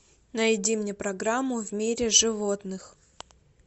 найди мне программу в мире животных